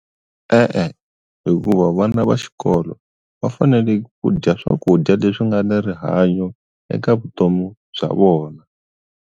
E-e hikuva vana va xikolo va fanele ku dya swakudya leswi nga ni rihanyo eka vutomi bya vona.